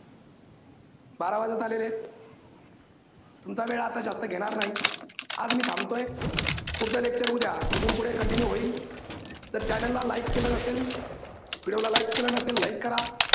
बारा वाजत आलेले आहेत, तुमचा वेळ आता जास्त घेणार नाही. आज मी थांबतोय, पुढचं lecture उद्या इथून पुढे continue होईल. तर channel ला like केलं नसेल video ला like केलं नसेल like करा.